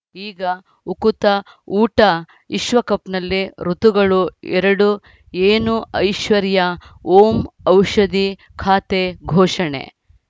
ಈಗ ಉಕುತ ಊಟ ವಿಶ್ವಕಪ್‌ನಲ್ಲಿ ಋತುಗಳು ಎರಡು ಏನು ಐಶ್ವರ್ಯಾ ಓಂ ಔಷಧಿ ಖಾತೆ ಘೋಷಣೆ